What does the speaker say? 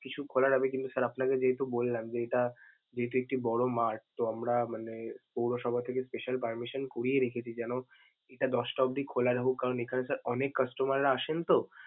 কিছু খোলা যাবে কিন্তু sir আপনাকে যেহেতু বললাম যে এটা যেহেতু একটি বড় mart তো আমরা মানে পৌরসভা থেকে special permission করিয়ে রেখেছি যেনো হ্যা দশটা অব্দি খোলা রাখুক কারণ এখানে sir অনেক customer রা আসেন তো।